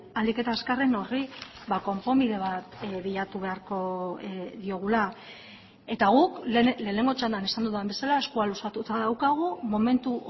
ahalik eta azkarren horri konponbide bat bilatu beharko diogula eta guk lehenengo txandan esan dudan bezala eskua luzatuta daukagu momentu